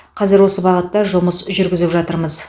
қазір осы бағытта жұмыс жүргізіп жатырмыз